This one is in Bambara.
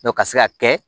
ka se ka kɛ